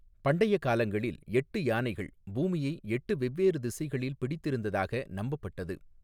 பண்டைய காலங்களில், எட்டு யானைகள் பூமியை எட்டு வெவ்வேறு திசைகளில் பிடித்திருந்ததாக நம்பப்பட்டது.